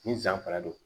Ni san fana don